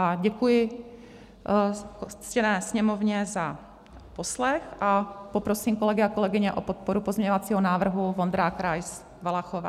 A děkuji ctěné Sněmovně za poslech a poprosím kolegy a kolegyně o podporu pozměňovacího návrhu Vondrák, Rais, Valachová.